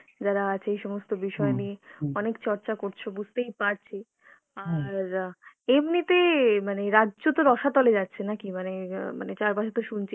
যারা আছে এই সমস্ত বিষয় নিয়ে অনেক চর্চা করছো বুঝতেই পারছি, আর এমনিতে মানে রাজ্য তো রসাতলে যাচ্ছে নাকি মানে অ্যাঁ মানে চারপাশে তো শুনছি